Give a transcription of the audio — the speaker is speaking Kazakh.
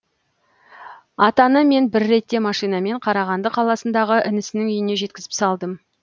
атаны мен бір ретте машинамен қарағанды қаласындағы інісінің үйіне жеткізіп салдым